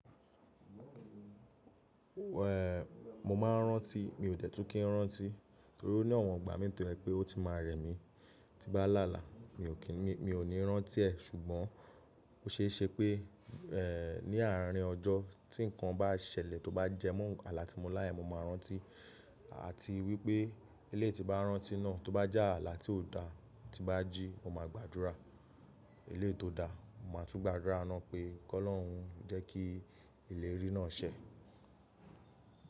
Eh, mo máa ń rántí, mi ò tètú kí n rántí, torí pé ní ọ̀wọ́n gba mí tó pé ó ti máa rẹ mí, ti bá lálá mi ò kìní, mi ò ní rántí ẹ̀ ṣùgbọ́n ó ṣe é ṣe pé, eh, ní àárín ọjọ́ tí nǹkan bá ṣẹlẹ̀ tó bá jẹ mọ́ alá tí mo láyà, mo máa rántí, à ti wí pé ilé ti bá rántí náà tó bá já alá tí ò dáa, ti bá jí, mo máa gbàdúrà. Ilé tó dáa, mo máa tún gbàdúrá áná pé kọ́ ọlọrun jẹ́ kí ilẹ̀ rí náà ṣẹ.